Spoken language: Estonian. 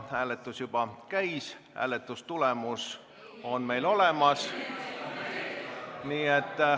Hääletus juba käis, hääletustulemus on meil olemas.